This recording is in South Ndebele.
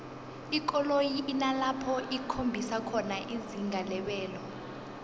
ikoloyi inalapho ikhombisa khona izinga lebelo